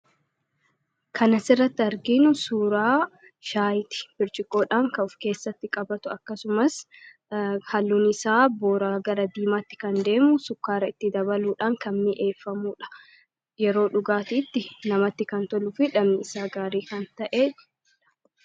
Kana asirratti argiinu suuraa shaayiti birchiqoodhaan kan of keessatti qabatu akkasumas halluun isaa booraa gara diimaatti kan deemu sukkaara itti dabaluudhaan kan mi'eeffamuudha. Yeroo dhugaatiitti namatti kan toluu fi dhandhamani isaa gaarii kan ta'eedha.